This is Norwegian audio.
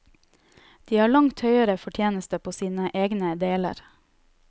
De har langt høyere fortjeneste på sine egne deler.